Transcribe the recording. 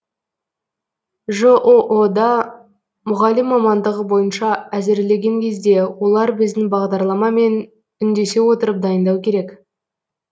жоо да мұғалім мамандығы бойынша әзірлеген кезде олар біздің бағдарламамен үндесе отырып дайындау керек